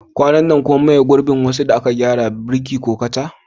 Kwanan nan kun maye gurbin wasu abubuwan da aka gyara, kamar faifan birki ko kaca?